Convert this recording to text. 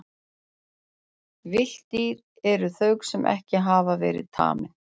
Villt dýr eru þau sem ekki hafa verið tamin.